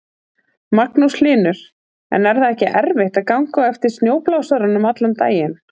Magnús Hlynur: En er það ekki erfitt að ganga á eftir snjóblásaranum allan daginn?